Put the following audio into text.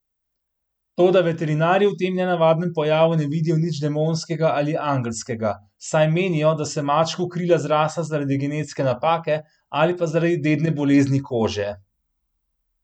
Toda veterinarji v tem nenavadnem pojavu ne vidijo nič demonskega ali angelskega, saj menijo, da so mačku krila zrasla zaradi genetske napake, ali pa zaradi dedne bolezni kože.